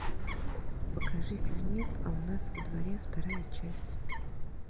покажи фильмец а у нас во дворе вторая часть